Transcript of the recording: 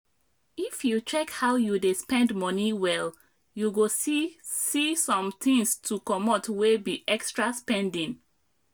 if you check how you dey spend money well you go see see somethings to comot wey be extra spending